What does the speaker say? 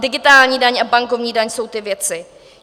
Digitální daň a bankovní daň jsou ty věci.